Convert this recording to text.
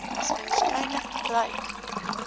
mees waarskynlik bereik